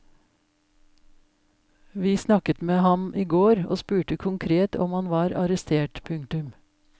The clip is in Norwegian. Vi snakket med ham i går og spurte konkret om han var arrestert. punktum